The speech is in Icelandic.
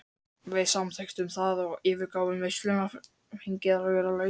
Við samþykktum það og yfirgáfum veisluna fegin að vera laus.